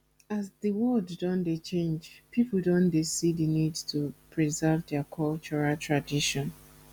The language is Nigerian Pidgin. as di world don dey change people don dey see the need to preserve their cultural tradition